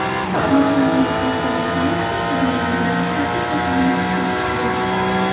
Germaniyalik bu grossmeyster turnirning birinchi tartib raqamli shaxmatchisi edi.